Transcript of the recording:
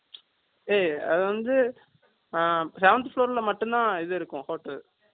ஏய், அது வந்து, அ, seventh floor ல மட்டும்தான், இது இருக்கும், hotel